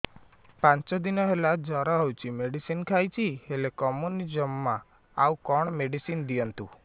ପାଞ୍ଚ ଦିନ ହେଲା ଜର ହଉଛି ମେଡିସିନ ଖାଇଛି ହେଲେ କମୁନି ଜମା ଆଉ କଣ ମେଡ଼ିସିନ ଦିଅନ୍ତୁ